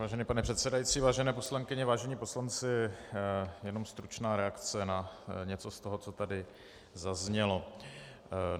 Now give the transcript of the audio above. Vážený pane předsedající, vážené poslankyně, vážení poslanci, jenom stručná reakce na něco z toho, co tady zaznělo.